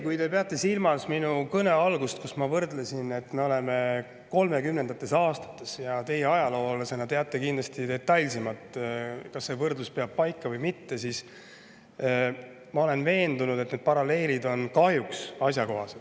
Kui te peate silmas minu kõne algust, kus ma, et me oleme 1930. aastates – teie ajaloolasena teate kindlasti detailsemalt, kas see võrdlus peab paika või mitte –, siis ma olen veendunud, et see paralleel on kahjuks asjakohane.